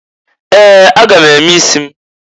Ee! A ga m eme isi m.